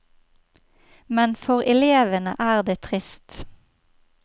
Men for elevene er det trist.